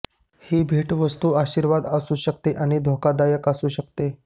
ही भेटवस्तू आशीर्वाद असू शकते आणि धोकादायक असू शकते